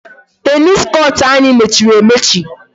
Tennis court anyị mechiri emechi.